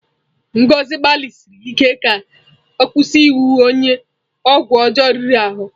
Ngozi gbalịsiri ike ka ọ kwụsị iwu onye ọgwụ ọjọọ riri ahụ.